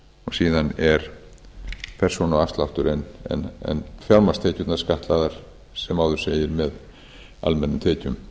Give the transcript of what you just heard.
síðan er persónuafsláttur en fjármagnstekjurnar skattlagðar sem áður segir með almennum tekjum